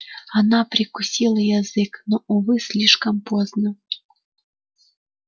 она прикусила язык но увы слишком поздно